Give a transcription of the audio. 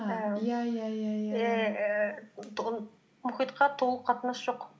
иә иә иә мұхитқа толық қатынасы жоқ